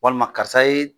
Walima karisa ye